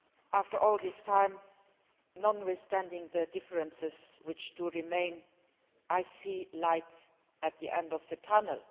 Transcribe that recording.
After all this time, and notwithstanding the differences which do remain, I see light at the end of the tunnel.